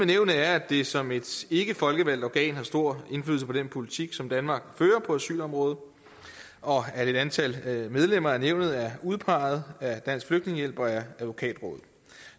nævnet er at det som et ikkefolkevalgt organ har stor indflydelse på den politik som danmark fører på asylområdet og at et antal medlemmer af nævnet er udpeget af dansk flygtningehjælp og advokatrådet